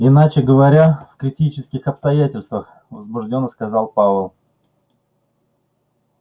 иначе говоря в критических обстоятельствах возбуждённо сказал пауэлл